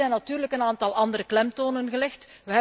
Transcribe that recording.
Hier zijn natuurlijk een aantal andere klemtonen gelegd.